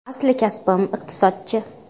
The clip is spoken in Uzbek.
Asli kasbim iqtisodchi.